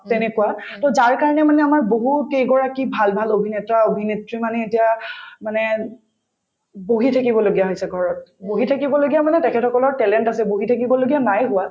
তেনেকুৱা তেওঁ যাৰ কাৰণে মানে আমাৰ বহুত কেইগৰাকী ভাল ভাল অভিনেতা-অভিনেত্ৰী মানে এতিয়া মানে বহি থাকিবলগীয়া হৈছে ঘৰত বহি থাকিবলগীয়া মানে তেখেতসকলৰ talent আছে বহি থাকিবলগীয়া নাই হোৱা